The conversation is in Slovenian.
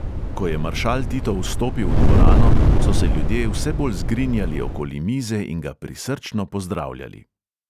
Ko je maršal tito vstopil v dvorano, so se ljudje vse bolj zgrinjali okoli mize in ga prisrčno pozdravljali.